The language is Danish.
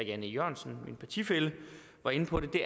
jan e jørgensen min partifælle var inde på det det